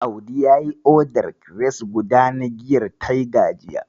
Audi yayi odar kires guda na giyar Tiger jiya.